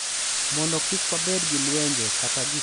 Mondo kik wabed gi lwenje kata gik ma nyalo kelo hinyruok